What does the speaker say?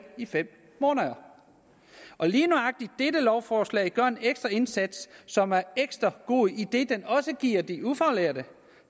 i fem måneder lige nøjagtig dette lovforslag gør en ekstra indsats som er ekstra god idet den også giver de ufaglærte